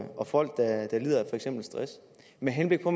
og folk der lider af for eksempel stress med henblik på